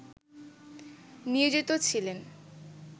নিয়োজিত ছিলেন